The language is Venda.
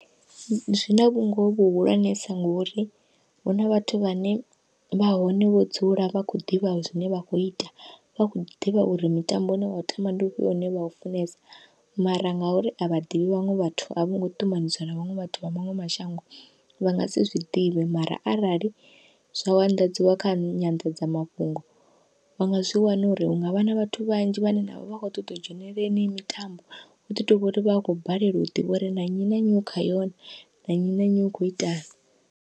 Zwina vhungoho vhuhulwanesa ngori huna vhathu vhane vha hone vho dzula vha khou ḓivha zwine vha kho ita vha kho ḓivha uri mitambo une vha tamba ndi vhufhio une vha u funesa, mara ngauri a vha ḓivhi vhaṅwe vhathu a vho ngo ṱumanisiwa na vhaṅwe vhathu vha maṅwe mashango vha ngasi zwiḓivhe. Mara arali zwa u anḓadziwa kha nyanḓadzamafhungo vha nga zwi wana uri hungavha na vhathu vhanzhi vhane vhavha vha kho ṱoḓa u dzhenelela yeneyi mitambo, huḓi tovha uri vha khou balelwa u ḓivha uri na nnyi na nnyi u kha yo na, na nnyi na nnyi u kho itani.